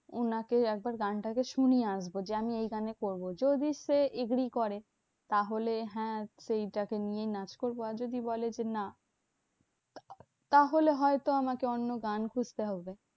উনাকে একবার গানটা শুনিয়ে আসবো যে আমি এই গানে করবো। যদি সে agree করে? তাহলে হ্যাঁ সেইটাকে নিয়ে নাচ করবো। আর যদি বলে যে না তাহলে হয়তো আমাকে অন্য গান খুঁজতে হবে।